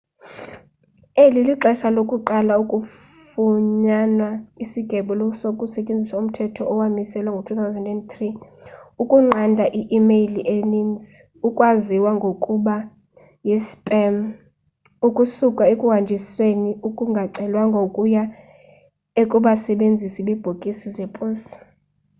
eli lixesha lokuqala kufunyanwa isigwebo kusetyenziswa umthetho owamiselwa ngo-2003 ukunqanda i-imeyile eninzi ekwaziwa ngokuba yi spam ukusuka ekuhanjisweni okungacelwanga ukuya kubasebenzisi bebhokisi zeposi